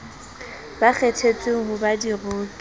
ba kgethetsweng ho ba diroki